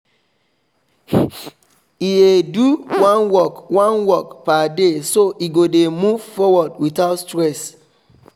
e dey do one work one work per day so e go dey move forward without stress